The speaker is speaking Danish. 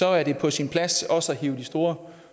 er det på sin plads også at hive de store